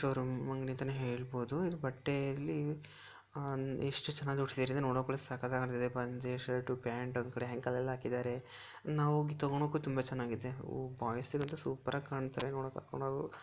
Showroom ಅಂಗಡಿ ಅಂತಾನೆ ಹೇಳಬಹುದು ಇದು ಬಟ್ಟೆ ಇಲ್ಲಿ ಎಷ್ಟು ಚೆನ್ನಾಗಿ ತೋರಿಸಿದಾರೆ ಅಂದ್ರೆ ನೋಡೋಕೆ ಒಳ್ಳೆ ಸಕ್ಕತ್ತಾಗಿ ಕಾಣತಾಯಿದೆ ಪಂಚೆ ಶರ್ಟ್ ಪ್ಯಾಂಟ್ ಒಂದ್ಕಡೆ ಹ್ಯಾಂಗರ್ ಅಲ್ಲಿ ಹಾಕಿದ್ದಾರೆ ನಾವು ಹೋಗಿ ತೊಗೊಣಕು ತುಂಬಾ ಚೆನ್ನಾಗಿದೆ ಬಾಯ್ಸ್ ಗಂತೂ ಸೂಪರ್ ಆಗಿ ಕಾನ್ತಾರೇ ನೋಡಕೆ ಕರ್ಕೊಂಡ್.